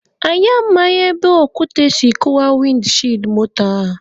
Anyi amaghị ebe okwute si kụwaa wịndị shiidi moto a.